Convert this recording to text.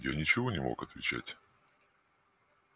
я ничего не мог отвечать